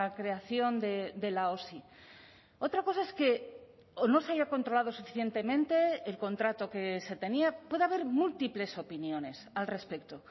creación de la osi otra cosa es que o no se haya controlado suficientemente el contrato que se tenía puede haber múltiples opiniones al respecto